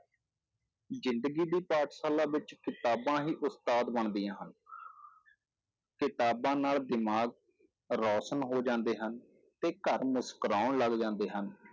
ਜ਼ਿੰਦਗੀ ਦੀ ਪਾਠਸ਼ਾਲਾ ਵਿੱਚ ਕਿਤਾਬਾਂ ਹੀ ਉਸਤਾਦ ਬਣਦੀਆਂ ਹਨ ਕਿਤਾਬਾਂ ਨਾਲ ਦਿਮਾਗ ਰੌਸ਼ਨ ਹੋ ਜਾਂਦੇ ਹਨ, ਤੇ ਘਰ ਮੁਸਕਰਾਉਣ ਲੱਗ ਜਾਂਦੇ ਹਨ